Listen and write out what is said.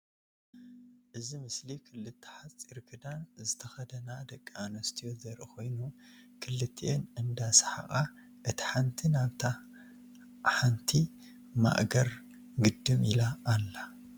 እዚ ምስሊ ክልተ ሓፂር ክዳን ዝተከደና ደቂ አንስትዮ ዘርኢ ኮይኑ ክልቲአን እንዳ ሰሓቃ እታ ሓንቲ ናብታ ናይታ ሓንቲ ማእገር ግድም ኢላ አላ፡፡